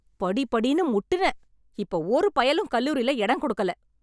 படி படின்னு முட்டினேன், இப்ப ஒரு பயலும் கல்லூரில இடம் கொடுக்கல.